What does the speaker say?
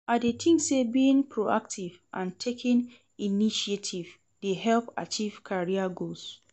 I dey think say being proactive and taking initiative dey help achieve career goals.